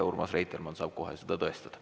Urmas Reitelmann saab kohe seda tõestada.